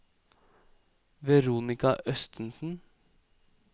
Veronika Østensen